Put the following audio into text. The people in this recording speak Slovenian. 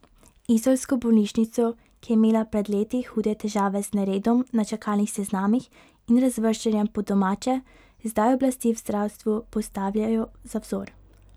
Izolsko bolnišnico, ki je imela pred leti hude težave z neredom na čakalnih seznamih in razvrščanjem po domače, zdaj oblasti v zdravstvu postavljajo za vzor.